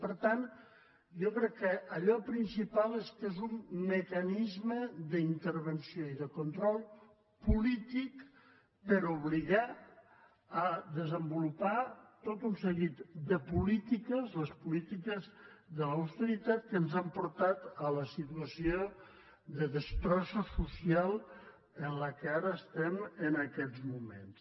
per tant jo crec que allò principal és que és un mecanisme d’intervenció i de control polític per obligar a desenvolupar tot un seguit de polítiques les polítiques de l’austeritat que ens han portat a la situació de destrossa social en la qual ara estem en aquestes moments